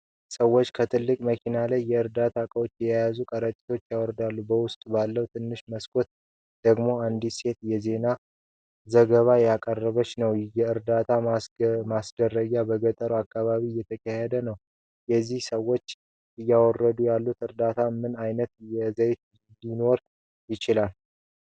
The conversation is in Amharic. ሰዎች ከትልቅ መኪና ላይ የእርዳታ ዕቃዎችን የያዙ ከረጢቶችን ያወርዳሉ። በውስጡ ባለው ትንሽ መስኮት ደግሞ አንዲት ሴት የዜና ዘገባ እያቀረበች ነው። የእርዳታ ማድረስ በገጠሩ አካባቢ እየተካሄደ ነው። እነዚህ ሰዎች እያወረዱት ያለው እርዳታ ምን አይነት ይዘት ሊኖረው ይችላል?